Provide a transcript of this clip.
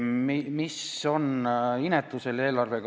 Mis on inetu selle eelarve puhul?